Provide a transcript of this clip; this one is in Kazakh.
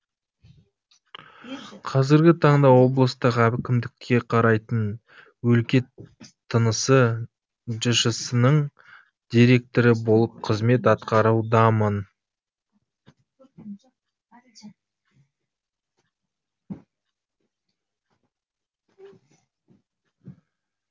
қазіргі таңда облыстық әкімдікке қарайтын өлке тынысы жшс нің директоры болып қызмет атқарудамын